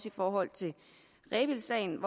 i forhold til rebildsagen